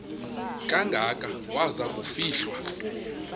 kangaka waza kufihlwa